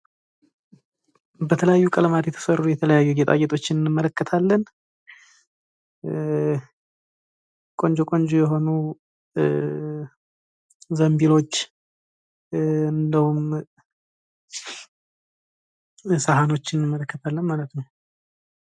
በተለያዩ ቀለማት የተሰሩ የተለያዩ ጌጣጌጦችን እንመለከታለን። ቆንጆ ቆንጆ የሆኑ ዘንቢሎች እንዲሁም ሳህኖች እንመለከታለን ማለት ነው።